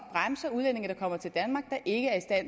ikke er